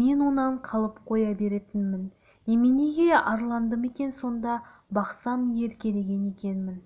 мен онан қалып қоя беретінмін неменеге арландым екен сонда бақсам еркелеген екенмін